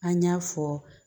An y'a fɔ